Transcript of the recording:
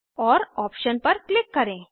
और आप्शन पर क्लिक करें